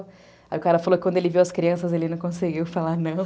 Aí o cara falou que quando ele viu as crianças, ele não conseguiu falar não.